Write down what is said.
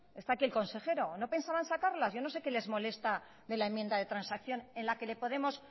está aquí el consejero no pensaban sacarlas yo no sé qué es lo que les molesta de la enmienda de transacción en la que le ponemos